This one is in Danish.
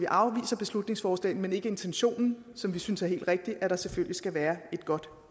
afviser beslutningsforslaget men ikke intentionen som vi synes er helt rigtig at der selvfølgelig skal være et godt